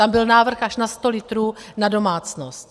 Tam byl návrh až na 100 litrů na domácnost.